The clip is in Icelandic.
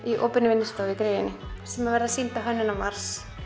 í opinni vinnustofu í gryfjunni sem verða svo sýnd á Hönnunarmars